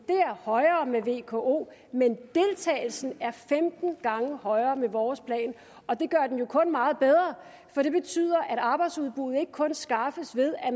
var højere med vko men deltagelsen er femten gange højere med vores plan og det gør den jo kun meget bedre for det betyder at arbejdsudbuddet ikke kun skaffes ved at